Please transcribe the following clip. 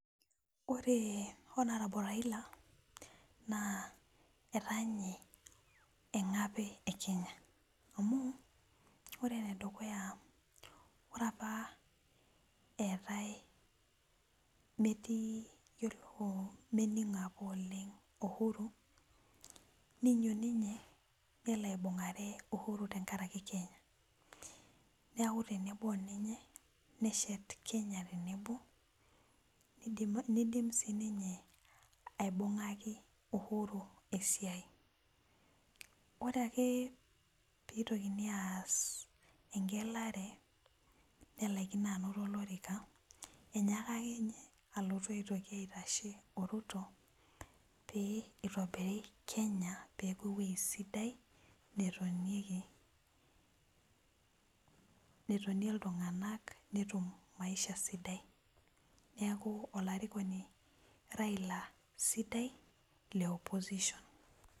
Ore honarable Raila ataa nye engape e kenya amu ore enedukuya ore apa eetae metii meiningo apa oleng uhuru ninyototo ninye nelo aibungare uhuru tenkaraki kenya nelo aakubtenebo oninye neshet kenya tenebo nidim ninye aibungaku uhuru esiai, ore ake pitokini aas engelare nelakino ainoto olorika inyaka akeenye alotu aitashe oruto peitobiri kenya peaku ewoi sidai netonieki netonie ltunganak netum maisha sidai neaku olarikoni raila sidai le opposition